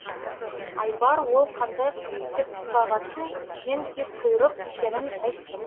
айбар ол қандай құс деп сұрағасын мен кезқұйрық екенін айттым